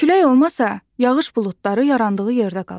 Külək olmasa, yağış buludları yarandığı yerdə qalar.